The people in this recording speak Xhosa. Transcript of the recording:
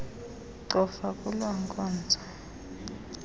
cofa kuloo nkonzo